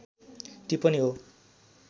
टिप्पणी हो